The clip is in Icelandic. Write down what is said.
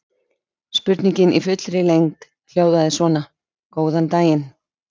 Spurningin í fullri lengd hljóðaði svona: Góðan daginn.